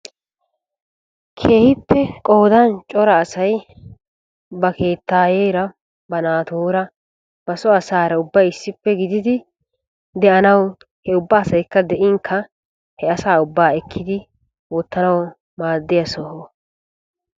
keehippe qoodan cora asay ba keettaayeera ba naatuura ba soo asaara ubbay issippe gididi de'anawu he ubba asaykka de'inkka he asaa ubaa ekkidi wottanawu maadiya soho.